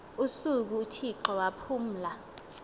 usuku uthixo waphumla